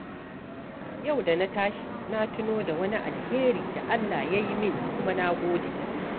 Yau da na tashi, na tuno da wani alheri da Allah ya yi min kuma na gode.